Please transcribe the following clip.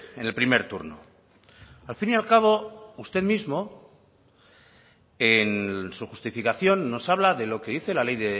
en el primer turno al fin y al cabo usted mismo en su justificación nos habla de lo que dice la ley